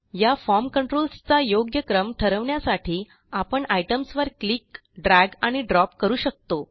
या form controls चा योग्य क्रम ठरवण्यासाठी आपण आयटीईएमएस वर क्लिक ड्रॅग आणि ड्रॉप करू शकतो